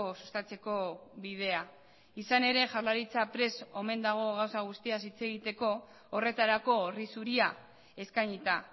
sustatzeko bidea izan ere jaurlaritza prest omen dago gauza guztiaz hitz egiteko horretarako horri zuria eskainita